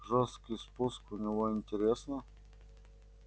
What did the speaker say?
жёсткий спуск у него интересно